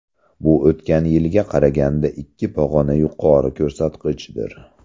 Bu o‘tgan yilga qaraganda ikki pog‘ona yuqori ko‘rsatkichdir.